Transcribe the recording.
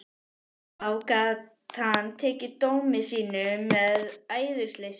Þá gat hann tekið dómi sínum með æðruleysi.